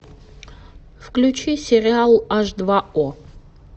включи сериал аш два о